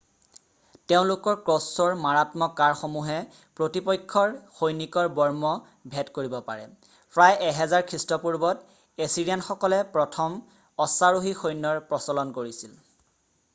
তেওঁলোকৰ ক্ৰছ্ব'ৰ মাৰাত্মক কাড়সমূহে প্ৰতিপক্ষৰ সৈনিকৰ বৰ্ম ভেদ কৰিব পাৰে প্ৰায় 1000 খ্ৰীষ্টপূৰ্বত এছিৰিয়ানসকলে প্ৰথম অশ্বাৰোহী সৈন্যৰ প্ৰচলন কৰিছিল